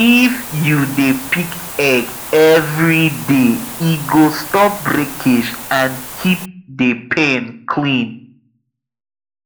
if you dey pick egg every day e go stop breakage and keep the pen clean